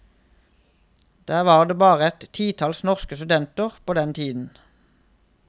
Der var det bare et titalls norske studenter på den tiden.